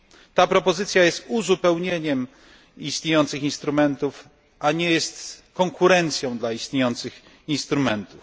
Ta propozycja jest uzupełnieniem istniejących instrumentów, a nie jest konkurencją dla istniejących instrumentów.